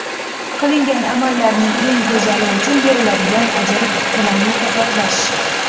Qilingan amallarning eng go‘zali uchun beriladigan ajr bilan mukofotlash.